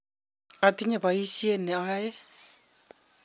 atinye boisiet ne ayoe